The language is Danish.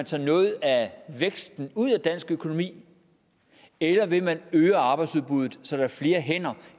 tage noget af væksten ud af dansk økonomi eller ved at man øger arbejdsudbuddet så der er flere hænder